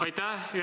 Aitäh!